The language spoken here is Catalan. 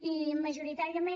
i majoritàriament